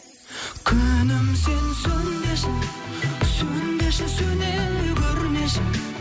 күнім сен сөнбеші сөнбеші сөне көрмеші